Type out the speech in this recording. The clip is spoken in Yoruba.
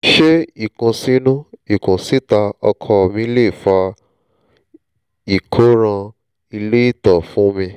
ṣé ìkùnsínú kùnsíta ọkọ mi lè fa ìkóràn ilé ìtọ̀ fún mi?